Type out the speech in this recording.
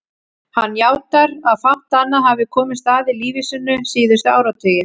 Hann játar að fátt annað hafi komist að í lífi sínu síðustu áratugi.